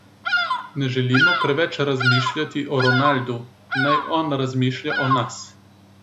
Ne želimo preveč razmišljati o Ronaldu, naj on razmišlja o nas.